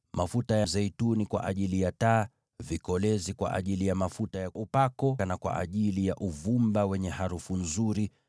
mafuta ya zeituni kwa ajili ya taa; vikolezi kwa ajili ya mafuta ya upako, pamoja na uvumba wa harufu nzuri;